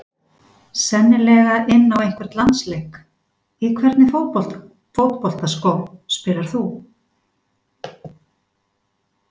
Sennilega inn á einhvern landsleik Í hvernig fótboltaskóm spilar þú?